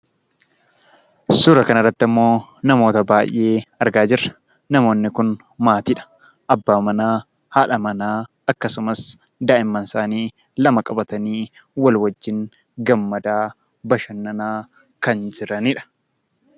Suura kanarratti ammoo namoota baay'ee argaa jirra. Namoonni kun maatiidha. Abbaa manaa, haadha manaa akkasumas daa'imman isaanii lama qabatanii wal wajjin gammadaa, bashannanaa kan jiranidha.